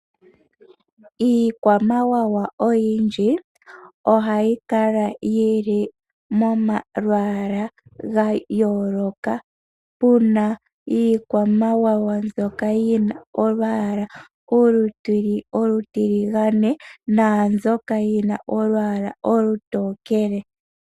Iikwamawawa oyindji ohayi kala yi li momalwala ga yooloka, puna iikwamawawa mbyoka yina olwaala olutiligane, naambyoka yina olwaala olutokele.